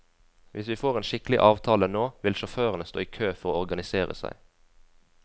Hvis vi får en skikkelig avtale nå, vil sjåførene stå i kø for å organisere seg.